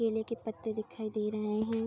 केले के पत्ते दिखाई दे रहें हैं।